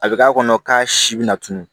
A bɛ k'a kɔnɔ k'a si bɛna tunu